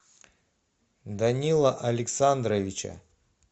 данила александровича